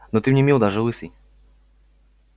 но ты мне мил даже лысый